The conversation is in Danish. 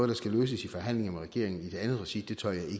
der skal løses i forhandlinger med regeringen i et andet regi tør jeg